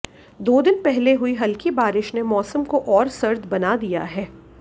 दो दिन पहले हुई हल्की बारिश ने मौसम को और सर्द बना दिया है